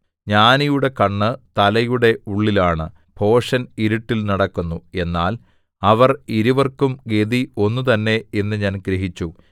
ജ്ഞാനിയുടെ കണ്ണ് തലയുടെ ഉള്ളിലാണ് ഭോഷൻ ഇരുട്ടിൽ നടക്കുന്നു എന്നാൽ അവർ ഇരുവർക്കും ഗതി ഒന്ന് തന്നെ എന്നു ഞാൻ ഗ്രഹിച്ചു